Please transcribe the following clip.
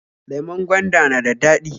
Lemon gwanda na da dadi